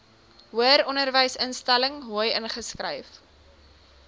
hoëronderwysinstelling hoi ingeskryf